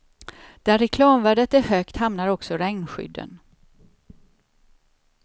Där reklamvärdet är högt hamnar också regnskydden.